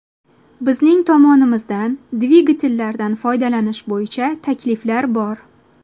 Bizning tomonimizdan dvigatellardan foydalanish bo‘yicha takliflar bor.